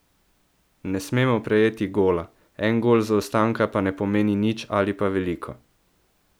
Ne smemo prejeti gola, en gol zaostanka pa ne pomeni nič ali pa veliko.